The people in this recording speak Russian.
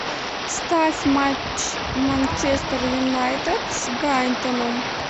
ставь матч манчестер юнайтед с брайтоном